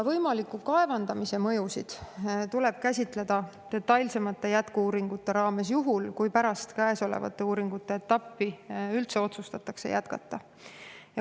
Võimaliku kaevandamise mõjusid tuleb käsitleda detailsemates jätku-uuringutes, juhul kui pärast käesolevat uuringuetappi üldse otsustatakse jätkata.